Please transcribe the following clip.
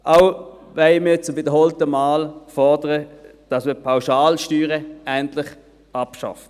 Auch fordern wir zum wiederholten Male, dass man die Pauschalsteuern endlich abschafft.